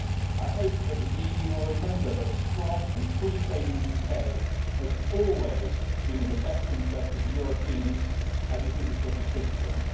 I hope that the EU will remember that a strong and free trading UK has always been in the best interests of Europeans, as it is of British citizens.